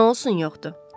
Nə olsun yoxdur?